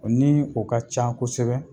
Ni o ka can kosɛbɛ